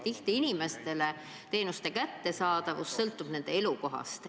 Tihti sõltub teenuste kättesaadavus inimese elukohast.